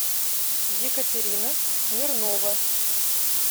екатерина смирнова